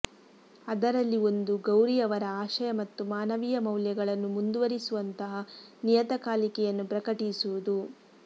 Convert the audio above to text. ಅದರಲ್ಲಿ ಒಂದು ಗೌರಿಯವರ ಆಶಯ ಮತ್ತು ಮಾನವೀಯ ಮೌಲ್ಯಗಳನ್ನು ಮುಂದುವರಿಸುವಂತಹ ನಿಯತಕಾಲಿಕೆಯನ್ನು ಪ್ರಕಟಿಸುವುದು